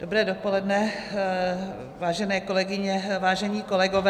Dobré dopoledne, vážené kolegyně, vážení kolegové.